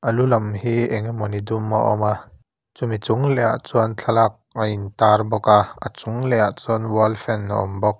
a lu lam hi engemawni dum a awm a chumi chung lehah chuan thlalak a intar bawk a a chung lehah chuan wall fan a awm bawk.